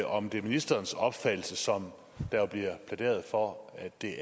om det er ministerens opfattelse sådan som der bliver plæderet for at det